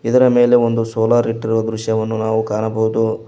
ಇದರ ಮೇಲೆ ಒಂದು ಸೋಲಾರ್ ಇಟ್ಟಿರುವ ದೃಶ್ಯವನ್ನು ನಾವು ಕಾಣಬಹುದು.